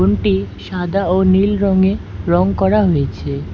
রুমটি সাদা ও নীল রঙে রং করা হয়েছে।